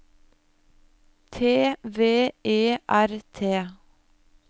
T V E R T